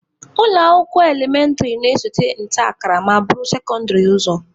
Ụlọ akwụkwọ elementịrị na-esote nta akara ma buru sekondịrị ụzọ.